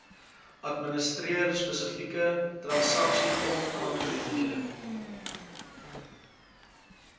administreer spesifieke transaksiegrondaangeleenthede